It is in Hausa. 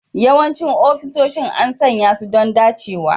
Yawancin ofisoshin an sanya su don dacewa